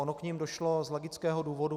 Ono k nim došlo z logického důvodu.